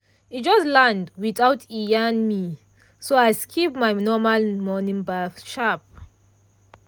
e just land without e yarn me so i skip my normal morning baff sharp.